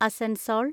Asansol